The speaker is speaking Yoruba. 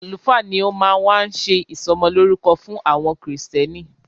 Àlùfáà ni o máa wá ṣé ìsọmọlórúkọ fún àwọn krìstẹ́nì.